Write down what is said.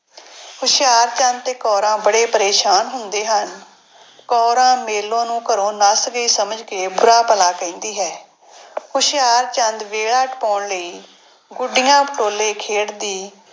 ਹੁਸ਼ਿਆਰਚੰਦ ਤੇ ਕੌਰਾਂ ਬੜੇ ਪਰੇਸਾਨ ਹੁੰਦੇ ਹਨ। ਕੌਰਾਂ ਮੇਲੋ ਨੂੰ ਘਰੋਂ ਨੱਸ ਗਈ ਸਮਝ ਕੇ ਬੁਰਾ ਭਲਾ ਕਹਿੰਦੀ ਹੈ। ਹੁਸ਼ਿਆਰਚੰਦ ਵੇਲਾ ਟਪਾਉਣ ਲਈ ਗੁੱਡੀਆਂ ਪਟੋਲੇ ਖੇਡਦੀ,